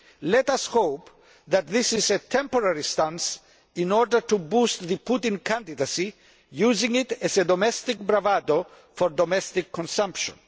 Let us hope that this is a temporary stance in order to boost the Putin candidacy, using it as domestic bravado for domestic consumption.